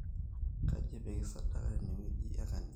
kaji epiki sadaka tenewueji e kanisa